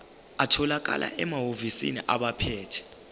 atholakala emahhovisi abaphethe